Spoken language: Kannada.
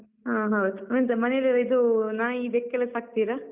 ಹಾ ಹಾ ಎಂತ ಮನೆಯಲ್ಲಿಲ್ಲ ಇದು ನಾಯಿ, ಬೆಕ್ಕೆಲ್ಲ ಸಾಕ್ತೀರ?